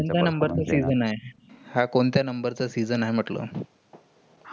number च्या season आहे? हा कोणत्या number चा season आहे म्हटलं?